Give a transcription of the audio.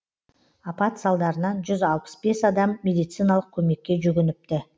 апат салдарынан жүз алпыс бес адам медициналық көмекке жүгініпті